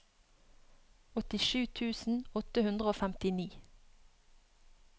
åttisju tusen åtte hundre og femtini